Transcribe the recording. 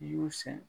I y'u sɛgɛn